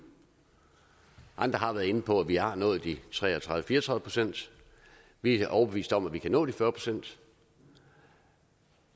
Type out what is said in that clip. andre har været inde på at vi har nået tre og tredive til fire og tredive procent vi er overbevist om at vi kan nå de fyrre procent